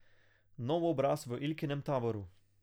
Nov obraz v Ilkinem taboru.